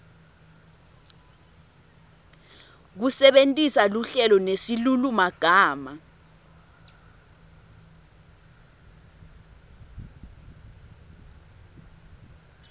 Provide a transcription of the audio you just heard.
kusebentisa luhlelo nesilulumagama